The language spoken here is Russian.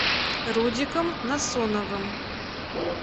рудиком насоновым